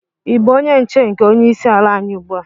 Ị bụ onye nche nke onye isi ala anyi ugbu a?